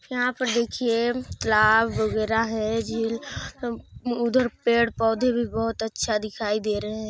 यहाँ पर देखिए लाव वगेरह भी है झील उम्म उधर पेड़ पौधे भी बोहोत अच्छे दिखाई दे रहे हैं।